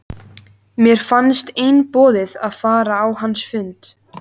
Mér fannst einboðið að fara á hans fund.